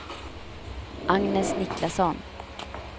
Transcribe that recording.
Agnes Niklasson